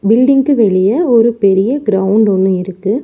Building க்கு வெளிய ஒரு பெரிய கிரௌண்ட் ஒன்னு இருக்கு.